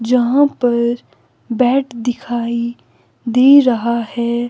जहां पर बैड दिखाई दे रहा है।